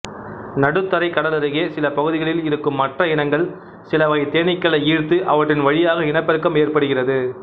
நடுத்தரைக்கடலருகே சில பகுதிகளில் இருக்கும் மற்ற இனங்கள் சிலவகை தேனீக்களை ஈர்த்து அவற்றின்வழியாக இனப்பெருக்கம் ஏற்படுகிறது